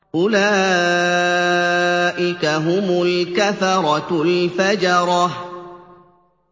أُولَٰئِكَ هُمُ الْكَفَرَةُ الْفَجَرَةُ